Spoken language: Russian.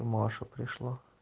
маша пришла